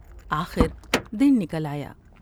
آخر دن نکل آیا ۔